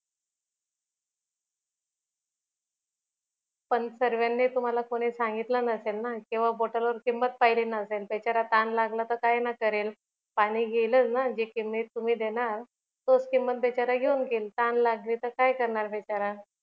पण सर्वांनी तुम्हाला कोणी सांगितल नसेल ना कि वा बॉटल वर किंमत पहिली नसेल ना बिचारा तहान लागल्यावर काय न करेल पाणी घेईलच ना तुम्ही जी किंमत देणार तोच किंमत बिचारा घेऊन घेईल तहान लागली तर काय करणार बिचारा